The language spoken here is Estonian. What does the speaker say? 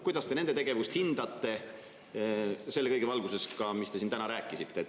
Kuidas te nende tegevust hindate selle kõige valguses, mis te siin rääkisite?